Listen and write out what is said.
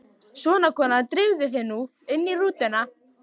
Svona, kona, drífðu þig nú inn í rútuna